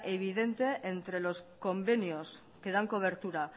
evidente entre los convenios que dan cobertura